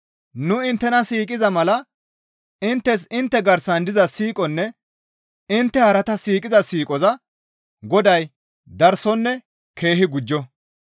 Nu inttena siiqiza mala inttes intte garsan diza siiqonne intte harata siiqiza siiqoza Goday darsonne keehi gujjo.